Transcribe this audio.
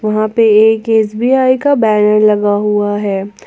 वहां पे एक एस_बी_आई का बैनर लगा हुआ है।